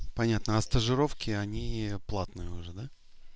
понятно а стажировки они платные уже да